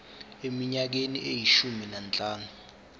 eminyakeni eyishumi nanhlanu